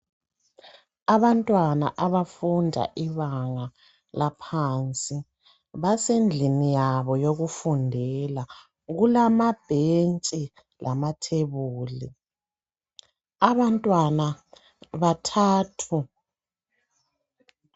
Abantwana abafunda ibanga laphansi basendlini yano yokufundela. Kulamabhentshi lamathebuli. Abantwana bathathu.